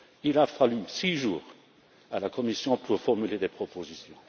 Il a fallu six jours à la Commission pour formuler des propositions.